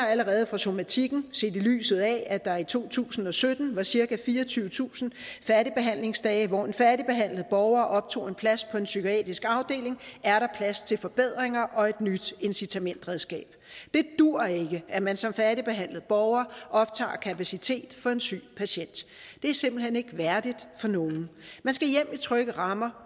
allerede fra somatikken set i lyset af at der i to tusind og sytten var cirka fireogtyvetusind færdigbehandlingsdage hvor en færdigbehandlet borger optog en plads på en psykiatrisk afdeling er der plads til forbedringer og et nyt incitamentsredskab det duer ikke at man som færdigbehandlet borger optager kapacitet for en syg patient det er simpelt hen ikke værdigt for nogen man skal hjem i trygge rammer